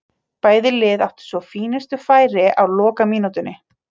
Bæði lið áttu svo fínustu færi á lokamínútunni.